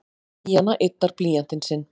Díana yddar blýantinn sinn.